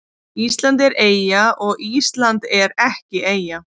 Ísland er eyja og Ísland er ekki eyja